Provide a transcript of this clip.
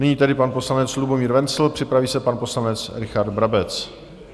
Nyní tedy pan poslanec Lubomír Wenzl, připraví se pan poslanec Richard Brabec.